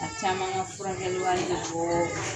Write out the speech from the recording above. Caman ka furakɛli wari bɛ bɔɔɔ